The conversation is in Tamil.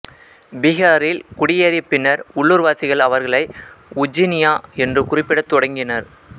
பீகாரில் குடியேறிய பின்னர் உள்ளூர்வாசிகள் அவர்களை உஜ்ஜினியா என்று குறிப்பிடத் தொடங்கினர்